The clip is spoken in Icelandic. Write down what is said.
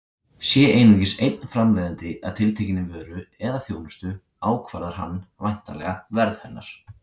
Sé einungis einn framleiðandi að tiltekinni vöru eða þjónustu ákvarðar hann væntanlega verð hennar.